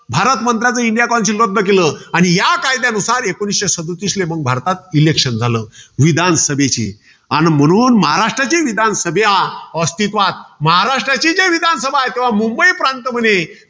भारत मंत्र्याचं india councile रद्द केलं. आणि या कायद्यानुसार एकोणीसशे सदतीसला भारतात election झालं. विधानसभेचे. आणि म्हणून महाराष्ट्राचे विधानसभा अस्तित्त्वात. महाराष्ट्राचे चे विधानसभा आहे. तेव्हा मुंबई प्रांत मध्ये